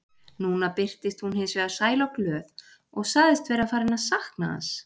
Núna birtist hún hins vegar sæl og glöð og sagðist vera farin að sakna hans.